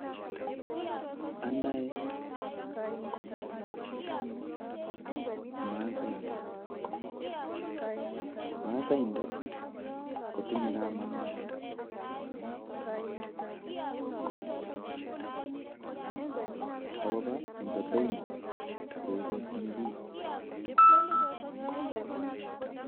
Anae masaindet, masaindet kotinye kamanut akobo boiboyet neikochinbich